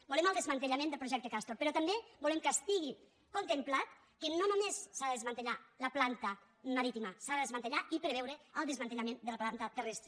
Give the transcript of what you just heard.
volem el desmantellament del projecte castor però també volem que estigui contemplat que no només s’ha de desmantellar la planta marítima s’ha de desmantellar i preveure el desmantellament de la planta terrestre